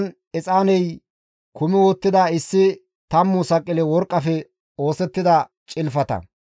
Izan exaaney kumi uttida issi tammu saqile worqqafe oosettida cilfata,